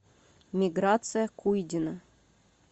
миграция куйдина